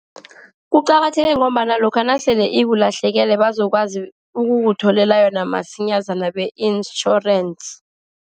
Kuqakatheke ngombana lokha nasele ikulahlekele bazokwazi ukukutholela yona masinyazana be-insurance.